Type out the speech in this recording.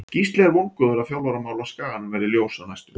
Gísli er vongóður að þjálfaramál á Skaganum verði ljós á næstunni.